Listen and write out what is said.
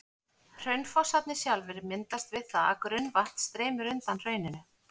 Hraunfossarnir sjálfir myndast við það að grunnvatn streymir undan hrauninu.